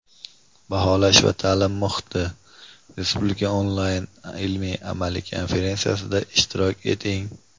baholash va ta’lim muhiti Respublika onlayn ilmiy-amaliy konferensiyasida ishtirok eting!.